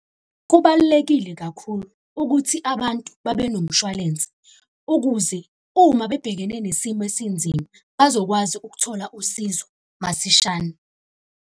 Kubalulekile kakhulu ukuthi abantu babe nomshwalense, ukuze uma bebhekene nesimo esinzima bazokwazi ukuthola usizo masishane.